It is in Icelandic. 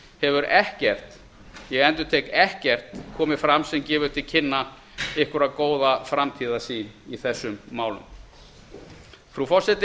hefur ekkert ég endurtek ekkert komið fram sem gefur til kynna einhverja góða framtíðarsýn í þessum málum frú forseti